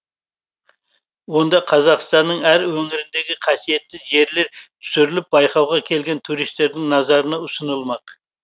онда қазақстанның әр өңіріндегі қасиетті жерлер түсіріліп байқауға келген туристердің назарына ұсынылмақ